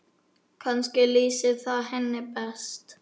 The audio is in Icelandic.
Kannski lýsir það henni best.